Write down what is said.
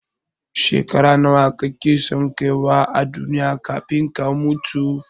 Shekara nawa kake son kaiwa a duniya kafin ka mutu?